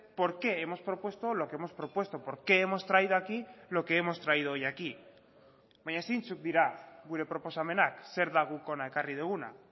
por qué hemos propuesto lo que hemos propuesto por qué hemos traído aquí lo que hemos traído hoy aquí baina zeintzuk dira gure proposamenak zer da guk hona ekarri duguna